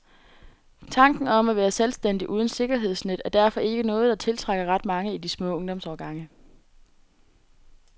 Tanken om at være selvstændig uden sikkerhedsnet er derfor ikke noget, der tiltrækker ret mange i de små ungdomsårgange.